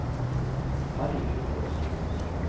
Harry Haukås